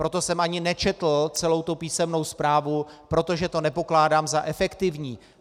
Proto jsem ani nečetl celou tu písemnou zprávu, protože to nepokládám za efektivní.